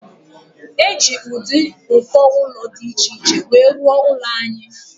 Eji ụdị uko ụlọ dị iche iche wee rụo ụlọ anyị.